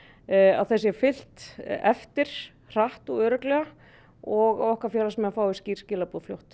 að þeim sé fylgt eftir hratt og örugglega og að okkar félagsmenn fái skýr skilaboð fljótt